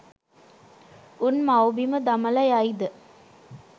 උන් මව්බිම දමල යයිද?